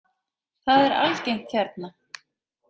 Það er algengt hérna.